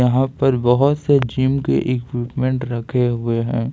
यहां पर बहोत से जिम के इक्विपमेंट रखे हुए हैं।